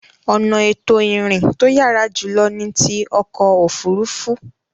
Ọ̀nà ètò ìrìn to yàrá jùlọ ni ti ọkọ̀ òfuurufú.